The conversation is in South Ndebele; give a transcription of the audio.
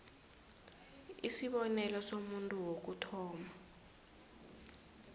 isibonelo somuntu wokuthoma